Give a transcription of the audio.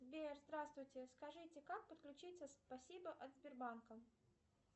сбер здравствуйте скажите как подключиться спасибо от сбербанка